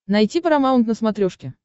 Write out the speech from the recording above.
найти парамаунт на смотрешке